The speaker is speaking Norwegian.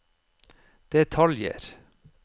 detaljer